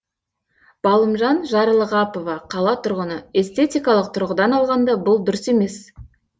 балымжан жарлығапова қала тұрғыны эстетикалық тұрғыдан алғанда бұл дұрыс емес